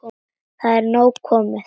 Það er nóg komið.